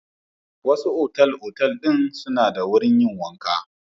Wasu otal-otal ɗin suna da wurin yin wanka.